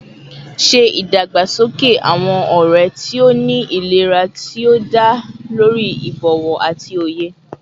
Ṣe idagbasoke awọn ọrẹ ti o ni ilera ti o da lori ibowo ati oye